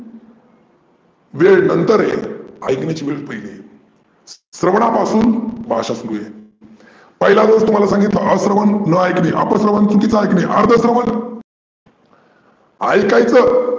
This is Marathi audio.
वेळ नंदर येते ऐकण्याची वेळ पहीली येते. स्रवनापासून भाषा सुरू आहे. पहीला दोष तुम्हाला सांगितला अस्रवन न ऐकने, अपस्रवन चुकिचे ऐकने, अर्ध स्रवन ऐकाचा